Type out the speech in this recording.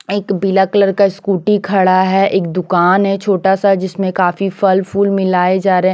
एक पीला कलर का स्कूटी खड़ा है एक दुकान है छोटा सा जिसमें काफी फल फूल मिले जा रहे--